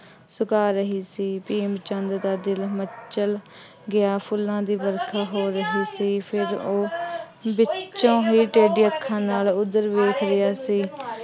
ਸੁਕਾ ਰਹੀ ਸੀ। ਭੀਮ ਚੰਦ ਦਾ ਦਿਲ ਮਚਲ ਗਿਆ। ਫੁੱਲਾਂ ਦੀ ਵਰਖਾ ਹੋ ਰਹੀ ਸੀ। ਫੇਰ ਉਹ ਵਿੱਚੋਂ ਹੀ ਟੇਢੀਆਂ ਅੱਖਾਂ ਨਾਲ ਉੱਧਰ ਵੇਖ ਰਿਹਾ ਸੀ।